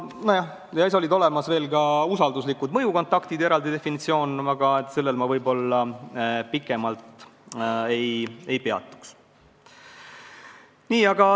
Muuseas, on olemas ka eraldi mõiste "usalduslikud mõjukontaktid", aga sellel ma pikemalt ei peatuks.